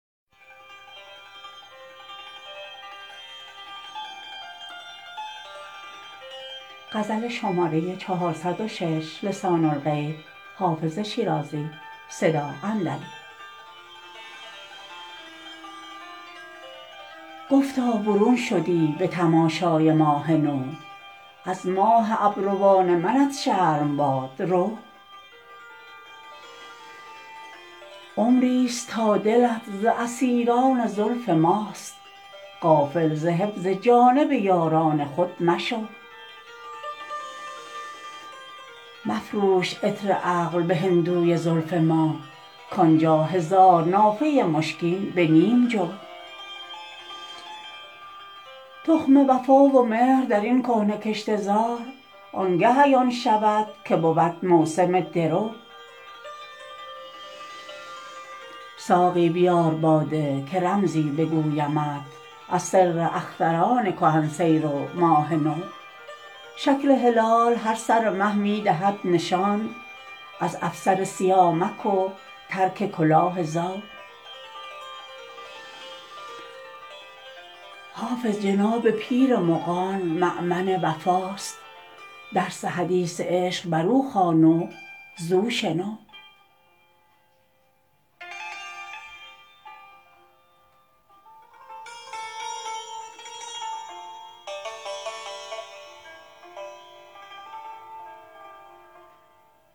گفتا برون شدی به تماشای ماه نو از ماه ابروان منت شرم باد رو عمری ست تا دلت ز اسیران زلف ماست غافل ز حفظ جانب یاران خود مشو مفروش عطر عقل به هندوی زلف ما کان جا هزار نافه مشکین به نیم جو تخم وفا و مهر در این کهنه کشته زار آن گه عیان شود که بود موسم درو ساقی بیار باده که رمزی بگویمت از سر اختران کهن سیر و ماه نو شکل هلال هر سر مه می دهد نشان از افسر سیامک و ترک کلاه زو حافظ جناب پیر مغان مأمن وفاست درس حدیث عشق بر او خوان و زو شنو